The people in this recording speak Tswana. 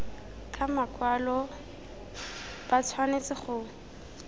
ka makwalo ba tshwanetse go